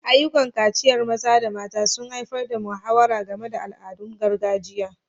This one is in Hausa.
Ayyukan kaciyar maza da mata sun haifar da muhawara game da al'adun gargajiya.